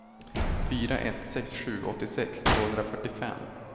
fyra ett sex sju åttiosex tvåhundrafyrtiofem